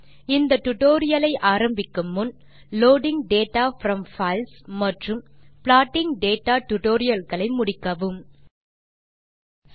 இந்த டியூட்டோரியல் ஐ ஆரம்பிக்கு முன் லோடிங் டேட்டா ப்ரோம் பைல்ஸ் மற்றும் ப்ளாட்டிங் டேட்டா டுடோரியல்களை முடித்து இருக்க பரிந்துரைக்கிறோம்